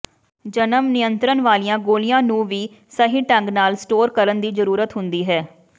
ਜਨਮ ਨਿਯੰਤਰਣ ਵਾਲੀਆਂ ਗੋਲੀਆਂ ਨੂੰ ਵੀ ਸਹੀ ਢੰਗ ਨਾਲ ਸਟੋਰ ਕਰਨ ਦੀ ਜ਼ਰੂਰਤ ਹੁੰਦੀ ਹੈ